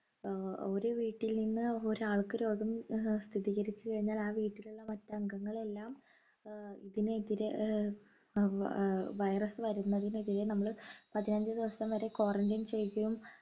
ഏർ ഒരു വീട്ടിൽ നിന്ന് ഒരാൾക്ക് രോഗം ഏർ സ്ഥിതികരിച്ചു കഴിഞ്ഞാൽ ആ വീട്ടിലുള്ള മറ്റ് ആംഗങ്ങൾ എല്ലാം ആഹ് ഇതിനെതിരെ ഏർ വ ഏർ virus വരുന്നതിനെതിരെ നമ്മൾ പതിനഞ്ച് ദിവസം വരെ quarantine ചെയ്യുകയും